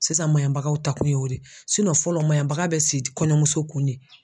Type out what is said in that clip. Sisan maɲabagaw ta kun ye o de ye fɔlɔ maɲabaka bɛ si kɔɲɔmuso kun de